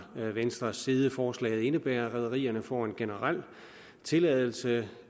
venstres side forslaget indebærer at rederierne får en generel tilladelse